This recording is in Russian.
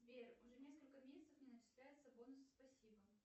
сбер уже несколько месяцев не начисляются бонусы спасибо